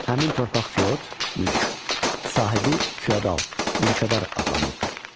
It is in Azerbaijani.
Həmin torpaq fiot, mülk, sahibi fiodal, mülkədar adlanırdı.